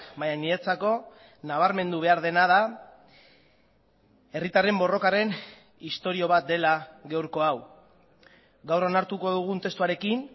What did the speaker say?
baina niretzako nabarmendu behar dena da herritarren borrokaren istorio bat dela gaurko hau gaur onartuko dugun testuarekin